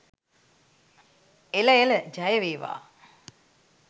එළ එළ ජය වේවා!